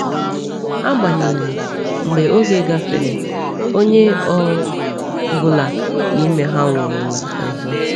Agbanyeghị, mgbe oge gafere, onye ọ bụla n’ime ha nwụrụla ọzọ.